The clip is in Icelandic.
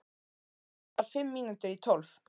Hana vantar fimm mínútur í tólf